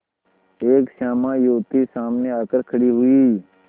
एक श्यामा युवती सामने आकर खड़ी हुई